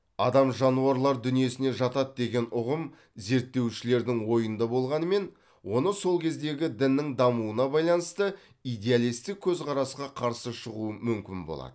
адам жануарлар дүниесіне жатады деген ұғым зерттеушілердің ойында болғанымен оны сол кездегі діннің дамуына байланысты идеалистік көзқарасқа қарсы шығу мүмкін болады